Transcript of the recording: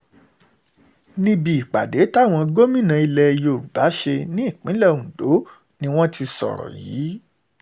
níbi ìpàdé táwọn gómìnà ilẹ̀ yorùbá ṣe nípìnlẹ̀ ondo ni wọ́n ti sọ̀rọ̀ yìí